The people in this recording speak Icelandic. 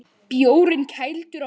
Bjórinn kældur á meðan.